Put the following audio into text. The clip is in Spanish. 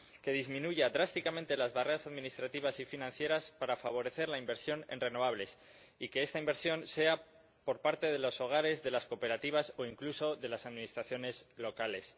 que disminuya drásticamente las barreras administrativas y financieras para favorecer la inversión en renovables, y que esta inversión sea por parte de los hogares, de las cooperativas o incluso de las administraciones locales.